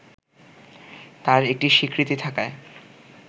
তার একটি স্বীকৃতি থাকায়